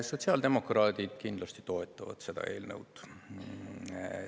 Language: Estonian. Sotsiaaldemokraadid kindlasti toetavad seda eelnõu.